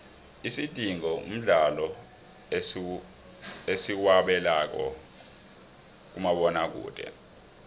isidingo mdlalo esiwabekela kumabona kude